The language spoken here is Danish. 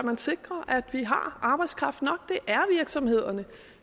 sikrer at vi har arbejdskraft nok det